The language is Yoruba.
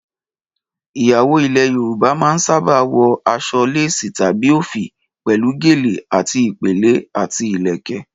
Ìyàwó ilẹ̀ Yorùbá máa ń sábà wọ aṣọ léèsì tàbí òfì pẹ̀lú gèlè àti ìpèlé, àti ìlẹ̀kẹ̀